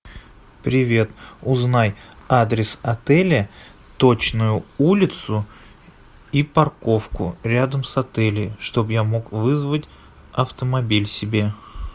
привет узнай адрес отеля точную улицу и парковку рядом с отелем чтобы я мог вызвать автомобиль себе